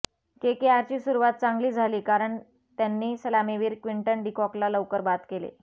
केकेआरची सुरुवात चांगली झाली कारण त्यांनी सलामीवीर क्टिंटन डीकॉकला लवकर बाद केले